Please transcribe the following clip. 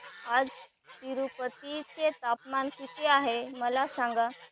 आज तिरूपती चे तापमान किती आहे मला सांगा